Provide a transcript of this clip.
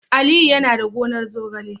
Aliyu yana da gonar zogale